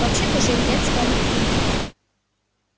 вообще-то жень я тебя не понимаю